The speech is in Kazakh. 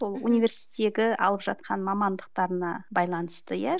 сол университеттегі алып жатқан мамандықтарына байланысты иә